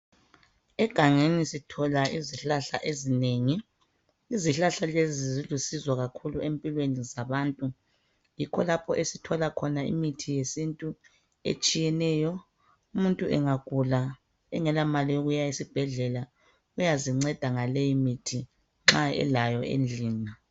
Egangeni sithola izihlahla ezinengi izihlahla lezi zilusizo kakhulu empilweni zabantu yikho lapho esithola khona imithi yesintu etshiyeneyo umuntu engagula engela mali yokuya esibhedlela uyazinceda ngaleyi mithi nxa elayo endlini.